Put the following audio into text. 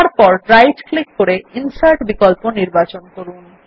তারপর right click করে insert বিকল্প নির্বাচন করুন